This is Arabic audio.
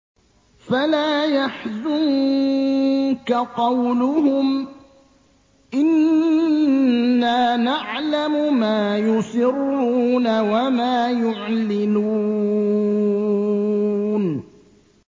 فَلَا يَحْزُنكَ قَوْلُهُمْ ۘ إِنَّا نَعْلَمُ مَا يُسِرُّونَ وَمَا يُعْلِنُونَ